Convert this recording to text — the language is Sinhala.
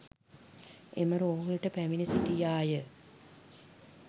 එම රෝහලට පැමිණ සිටියාය.